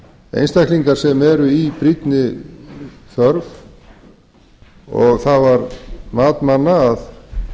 einstaklingar sem eru í brýnni þörf það var mat manna að